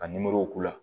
Ka k'u la